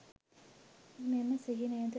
මෙම සිහිනයද